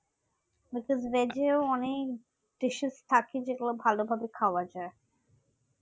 Mrs রেজেও অনেক dishes থাকে যেগুলা ভালোভাবে খাওয়া যায়